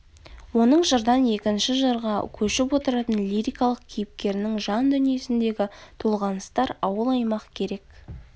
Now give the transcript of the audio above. оның жырдан екінші жырға көшіп отыратын лирикалық кейіпкерінің жан дүниесіндегі толғаныстар ауыл аймақ керек